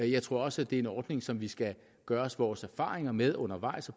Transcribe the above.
jeg tror også det er en ordning som vi skal gøre os vores erfaringer med undervejs og